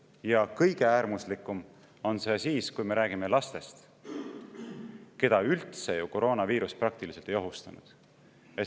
Ja kõige äärmuslikum on see siis, kui me räägime lastest, keda üldse ju koroonaviirus praktiliselt ei ohustanud.